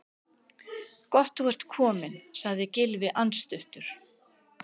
Gott þú ert kominn- sagði Gylfi andstuttur.